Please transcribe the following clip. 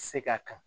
Se ka kan